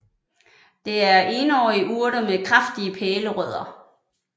Det er enårige urter med kraftige pælerødder